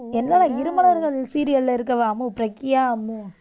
என்னடா இருமலர்கள் serial ல அம்மு பிரக்யா அம்மு.